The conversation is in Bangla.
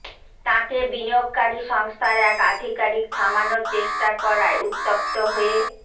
তাঁকে বিনিয়োগকারী সংস্থার এক আধিকারিক থামানোর চেষ্টা করায় উত্তপ্ত হয়ে